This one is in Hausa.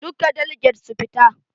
Duka daliget su fita.